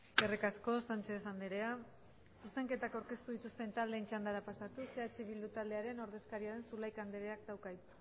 eskerrik asko sánchez andrea zuzenketak aurkeztu dituzten taldeen txandara pasatuz eh bildu taldearen ordezkaria den zulaika andreak dauka hitza